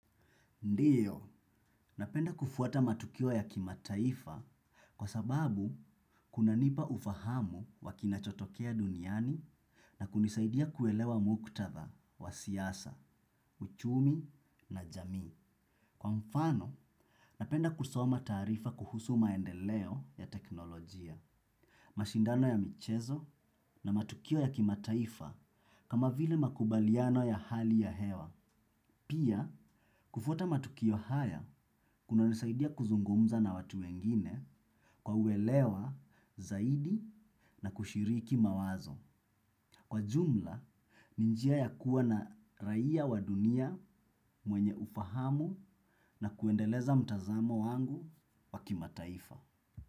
Ndiyo, napenda kufuata matukio ya kimataifa kwa sababu kunanipa ufahamu wa kinachotokea duniani na kunisaidia kuelewa muktadha wa siasa, uchumi na jamii. Kwa mfano, napenda kusoma taarifa kuhusu maendeleo ya teknolojia, mashindano ya michezo na matukio ya kimataifa kama vile makubaliano ya hali ya hewa. Pia, kufuata matukio haya kunanisaidia kuzungumza na watu wengine kwa uelewa zaidi na kushiriki mawazo. Kwa jumla, ni njia ya kuwa na raia wa dunia mwenye ufahamu na kuendeleza mtazamo wangu wa kimataifa.